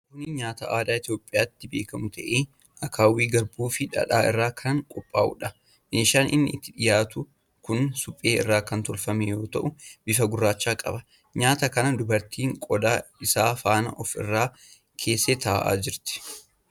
Kuni nyaata aadaa Itoophiyaatti beekamu ta'ee, akaawwii garbuu fii dhadhaa irraa kan qophaa'udha. Meeshaan inni itti dhiyaatu kun suphee irraa kan tolfame yoo ta'u, bifa gurraacha qaba. Nyaata kana dubartiin qodaa isaa faana of irra keessee taa'aa jirti.